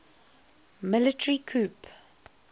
military coup